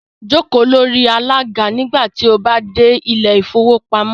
Jókò lórí alàga nígbà tí o bá dẹ̀ ilẹ̀ ìfowópamọ́